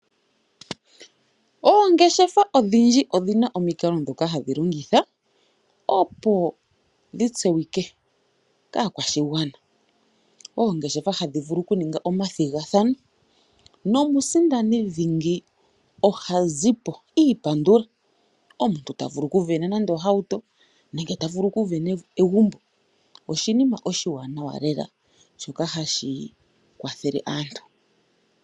Oongeshefa odhindji odhina omikalo ndhoka hadhi longitha, opo dhi tseyi kwe kaakwashigwana, oongeshefa hadhi vulu okuninga omathigathano, nomusindani dhingi oha zipo iipandula. Omuntu ta vulu okuvena nande ohauto, nenge ya vulu okuvena egumbo. Oshinima oshiwanawa lela shoka hashi kwathele aantu.